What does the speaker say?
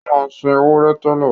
Ó máa ń sin ewúrẹ́ tẹ́lẹ̀